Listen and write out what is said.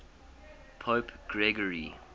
pope gregory